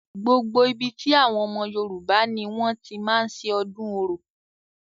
Gbogbo ibi tí àwọn ọmọ yorùbá ni wọ́n ti máa ń ṣe ọdún orò.